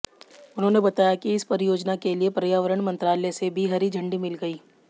उन्होंने बताया कि इस परियोजना के लिए पर्यावरण मंत्रालय से भी हरी झंडी मिल गई